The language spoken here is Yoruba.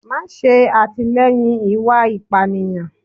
ma sé atilẹyín ìwá ipániyan